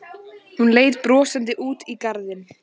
Hún leit brosandi út í garðinn.